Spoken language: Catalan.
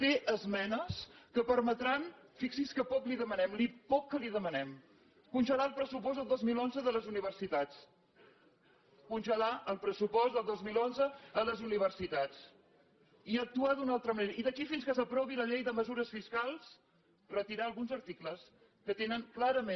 té esmenes que permetran fixi’s que poc que li demanem el poc que li demanem congelar el pressupost del dos mil onze de les universitats congelar el pressupost del dos mil onze a les universitats i actuar d’una altra manera i d’aquí fins que s’aprovi la llei de mesures fiscals retirar alguns articles que tenen clarament